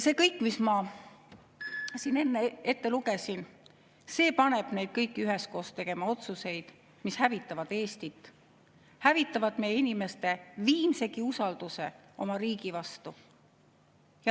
See kõik, mis ma siin enne ette lugesin, paneb meid kõiki üheskoos tegema otsuseid, mis hävitavad Eestit ja hävitavad meie inimeste viimsegi usalduse oma riigi vastu.